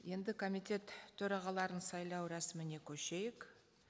енді комитет төрағаларын сайлау рәсіміне көшейік